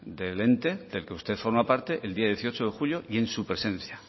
del ente del que usted forma parte el día dieciocho de julio y en su presencia